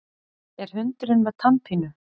Er hundurinn með tannpínu?